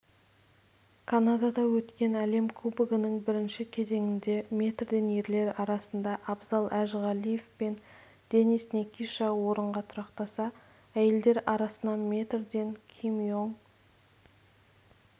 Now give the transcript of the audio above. канадада өткен әлем кубогының бірінші кезеңінде метрден ерлер арасында абзал әжіғалиев пен денис никиша орынға тұрақтаса әйелдер арасынан метрден ким ионг